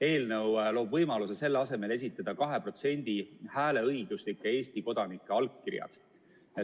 Eelnõu loob võimaluse selle asemel esitada 2% hääleõiguslike Eesti kodanike allkirjad.